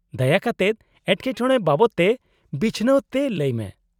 -ᱫᱟᱭᱟ ᱠᱟᱛᱮᱫ ᱮᱴᱠᱮᱴᱚᱬᱮ ᱵᱟᱵᱚᱫᱛᱮ ᱵᱤᱪᱷᱱᱟᱹᱣ ᱛᱮ ᱞᱟᱹᱭ ᱢᱮ ᱾